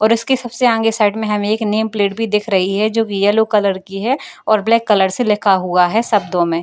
और इसके सबसे आगे साइड में हमें एक नेम प्लेट भी दिख रही हैं जो की यैलो कलर की है और ब्लैक कलर से लिखा हुआ है शब्दों में।